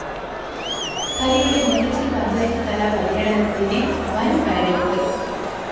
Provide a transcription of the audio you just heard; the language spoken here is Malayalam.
ഹരിയുടെ മീനച്ചില്‍ പഞ്ചായത്തുതല പര്യടനത്തിന് വന്‍വരവേല്‍പ്പ്